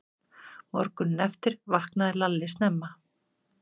Morguninn eftir vaknaði Lalli snemma.